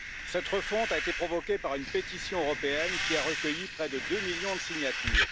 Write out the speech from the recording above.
Cette refonte a été provoquée par une pétition européenne qui a recueilli près de deux millions de signatures.